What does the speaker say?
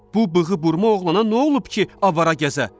Bu bığıburma oğlana nə olub ki, avara gəzə?